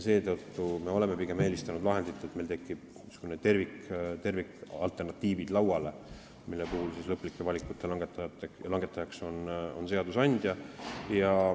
Seetõttu oleme pigem eelistanud lahendit, et meil tekivad tervikalternatiivid, mille puhul on lõpliku valiku langetaja seadusandja.